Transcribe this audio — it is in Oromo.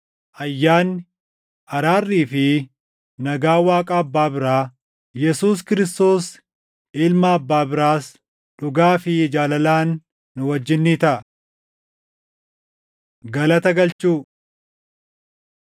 Ayyaanni, araarrii fi nagaan Waaqa Abbaa biraa, Yesuus Kiristoos Ilma Abbaa biraas, dhugaa fi jaalalaan nu wajjin ni taʼa. Galata Galchuu